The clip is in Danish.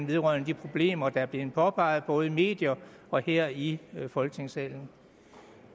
vedrørende de problemer der er blevet påpeget i både medierne og her i folketingssalen